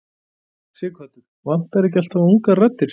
Sighvatur: Vantar ekki alltaf ungar raddir?